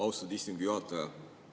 Austatud istungi juhataja!